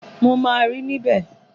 Mo maa ri níbẹ̀